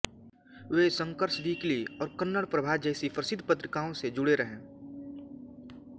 वे Shankar's Weekly और कन्नड़ प्रभा जैसी प्रसिद्ध पत्रिकाओं से जुड़े रहे